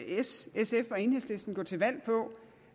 s sf og enhedslisten gå til valg på